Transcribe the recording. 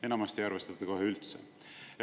Enamasti ei arvestata kohe üldse.